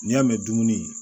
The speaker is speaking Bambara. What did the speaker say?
N'i y'a mɛn dumuni